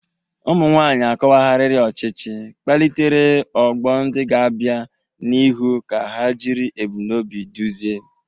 Ụmụ nwanyị akọwagharịrị ọchịchị, kpalitere ọgbọ ndị ga-abịa n'ihu ka ha jiri ebumnobi duzie.